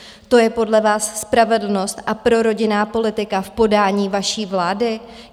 To je podle vás spravedlnost a prorodinná politika v podání vaší vlády?